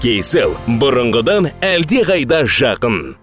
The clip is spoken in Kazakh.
кейсел бұрынғыдан әлдеқайда жақын